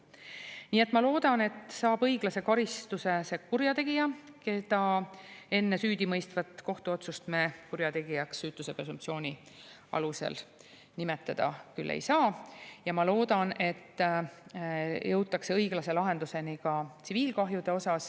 Nii et ma loodan, et õiglase karistuse saab see kurjategija, keda me enne süüdimõistvat kohtuotsust kurjategijaks süütuse presumptsiooni alusel nimetada küll ei saa, ja ma loodan, et jõutakse õiglase lahenduseni ka tsiviilkahjude osas.